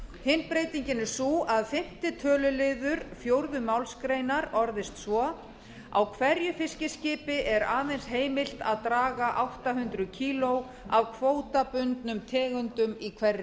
hin breytingin er sú að fyrsti töluliður fjórðu málsgrein orðist svo á hverju fiskiskipi er aðeins heimilt að draga átta hundruð kíló af kvótabundnum tegundum í hverri